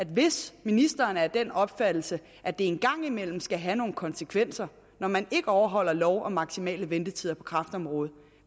hvis ministeren er af den opfattelse at det en gang imellem skal have nogle konsekvenser når man ikke overholder lov om maksimale ventetider på kræftområdet